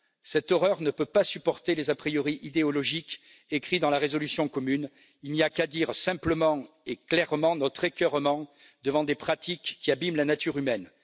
Cette horreur ne peut pas supporter les a priori idéologiques inscrits dans la résolution commune il n'y a qu'à dire simplement et clairement notre écœurement devant des pratiques qui abîment la nature humaine.